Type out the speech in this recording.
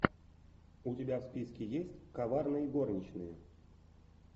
у тебя в списке есть коварные горничные